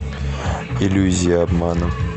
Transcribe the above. иллюзия обмана